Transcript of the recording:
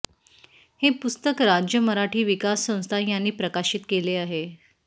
हे पुस्तक राज्य मराठी विकास संस्था यांनी प्रकाशित केले आहे